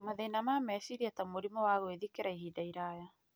mathĩna ma meciria ta mũrimũ wa gwĩthikĩra kwa ihinda iraya.